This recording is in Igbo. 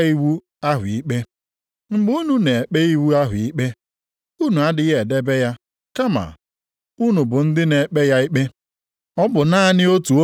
Ọ bụ naanị otu onye o nye iwu. Ọ bụkwa naanị otu onye ikpe dị. Ọ bụ naanị ya nwere ike ịzọpụta mmadụ. O nwekwara ike ịla onye ọbụla nʼiyi. Ma gị, onye ka ị na-eche na ị bụ iji na-ekpe nwanna gị ikpe? Ịnya isi banyere ihe echi ga-abụ